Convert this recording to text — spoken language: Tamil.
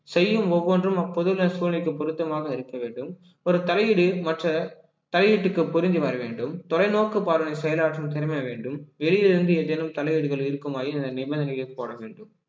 செய்யும் ஒவ்வொன்றும் அப்பொதுள்ள சூழ்நிலைக்கு பொருத்தமாக இருக்க வேண்டும் ஒரு தலையீடு மற்ற தலையீட்டுக்கு பொருந்தி வர வேண்டும் தொலைநோக்கு பார்வை செயலாற்றும் திறமை வேண்டும் வெளியிலிருந்து ஏதேனும் தலையீடுகள் இருக்குமாயின் இந்த நிபந்தனையை போட வேண்டும்